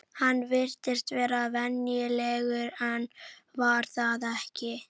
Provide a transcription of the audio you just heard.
Hann virtist vera venjulegur en var það ekki.